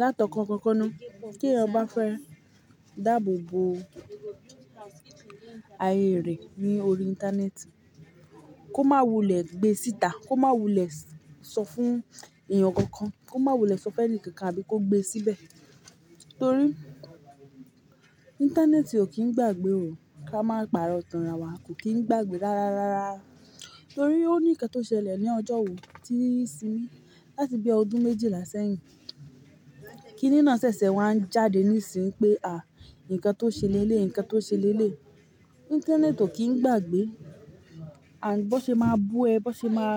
Látọ̀kọ̀ kankan ni kí èèyàn bá fẹ́ dáàbò bo ayé rẹ̀ ní orí íńtánẹ́ẹ̀tì, kó má wulẹ̀ gbé síta, kó má wulẹ̀ sọ fún èèyàn kankan, kó má wulẹ̀ sọ fẹ́ni kankan àbí kó gbé síbẹ̀. Torí íńtánẹ́ẹ̀tì ò kí ń gbàgbé ò, ká máa pa'rọ̀ tánra wa kò kí ń gbàgbé rárárárá. Torí ó ní nǹkan tó ṣẹlẹ̀ ní ọjọ́ wo tíì simi, láti bí ọdún méjìlá sẹ́yìn kí nínà ṣẹ̀ṣẹ̀ wá ń jáde nísìí pé à nǹkan tó ṣe lẹ́lẹ̀, nǹkan tó ṣe lẹ́lẹ̀. Íńtánẹ́ẹ̀tì ò kí ń gbàgbé. Àńd, bó ṣe máa bú ẹ, bó ṣe máa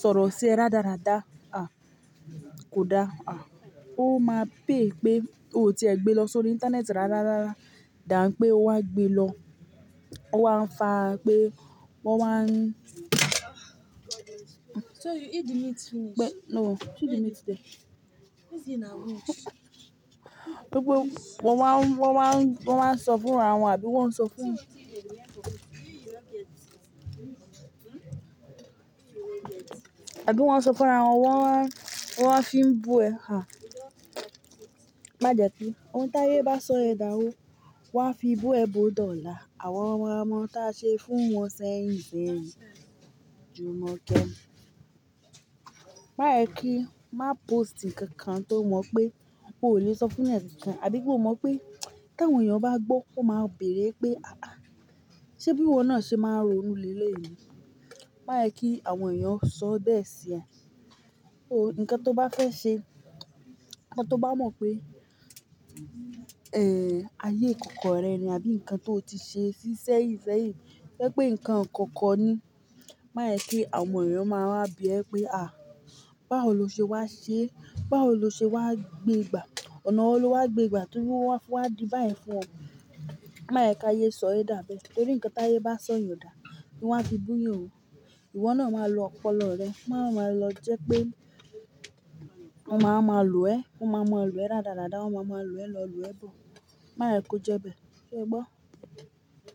sọ̀rọ̀ sí ẹ radarada, à kò dáa, à ó máa pay pé ó ti ẹ gbé lọ sórí íńtánẹ́ẹ̀tì rárárárá, dàń pé ó wá gbé lọ, ó wá ń fa pé wọ́n wá ń so you eat the meat finish? No, see the meat there. What's in a meat? Gbogbo wọ́n wá ń, wọ́n wá ń, wọ́n wá ń sọ fúnra wọn àbí wọ́n ń sọ fún àbí wọ́n ń sọ fúnra wọn, wọ́n wá, wọ́n wá fi ń bú ẹ. À má jẹ́ pé ohun t'áyé bá sọ ẹ dàwó, wọ́n á fi bú ẹ bòó dọ̀la. Àwọn ọmọ táa ṣe fún wọn sẹ́yìn sẹ́yìn, jumokẹ́. Má ẹ kí, má póòstì nǹkan tó mọ̀ pé ó lè sọ fún ẹnyan kan, àbí pé o mọ̀ pé tí àwọn èèyàn bá gbọ́, ó máa bèèrè pé "haha ṣẹ bí wọ́n náà ṣe máa ń ro inú lẹ́lẹ̀ yìí?" Má ẹ kí àwọn èèyàn sọ bẹ́ẹ̀ sí ẹ. Ó, ǹkan tó bá fẹ́ ṣe, ǹkan tó bá mọ̀ pé, eh, ayé ìkọ̀kọ̀ rẹ̀ ni àbí nǹkan tó ti ṣe sísẹ́yìn sẹ́yìn, ojẹ́ pé nǹkan kankan ni. Má ẹ kí àwọn èèyàn máa wá bí ẹ pé "à báwo lo ṣe wá ṣe? Báwo lo ṣe wá gbé gbà? Ọ̀nà wo lo wá gbé gbà tó wọ́n wá fi wá di bá yẹn fún ọ?" Má ẹ kí ayé sọ ẹ dà bẹ́ẹ̀. Torí nǹkan t'áyé bá sọ yan dà, wọ́n á fi bú yan ò. Ìwọ náà máa lo ọpọlọ rẹ, wọ́n máa lọ jẹ́ pé wọ́n máa máa lo ẹ́, wọ́n máa mú ẹ lo ẹ́ radarada, wọ́n máa ma lo ẹ́ lọ lo ẹ bò. Má ẹ kó jẹ́ bẹ́ẹ̀. So gbọ́